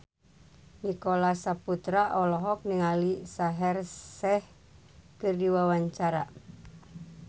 Nicholas Saputra olohok ningali Shaheer Sheikh keur diwawancara